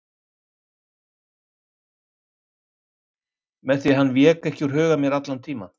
Sveini með því hann vék ekki úr huga mér allan tímann.